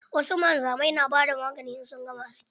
Wasu wanzamai na bada magani in sun gama aski.